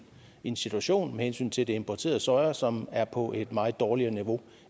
en situation med hensyn til det importerede soja som er på et meget dårligere niveau